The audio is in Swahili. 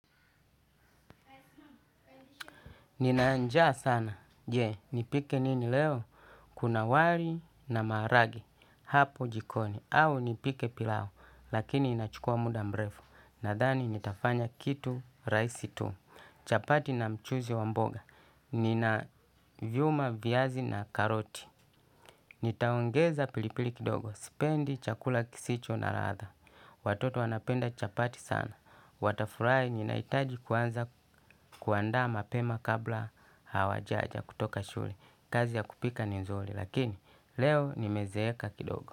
Nina njaa sana. Je, nipike nini leo? Kuna wali na marage. Hapo jikoni. Au nipike pilau. Lakini inachukua muda mrefu. Nadhani nitafanya kitu rahisi tu. Chapati na mchuzi wa mboga. Nina vyuma vyazi na karoti. Nitaongeza pilipili kidogo. Sipendi chakula kisicho na ladha. Watoto wanapenda chapati sana. Watafurai ninahitaji kuanza kuandas mapema kabla hawajaja kutoka shule. Kazi ya kupika ni nzuri lakini leo nimezeeka kidogo.